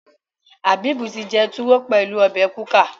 Habib tí jé tuwo pẹlú obè kuka.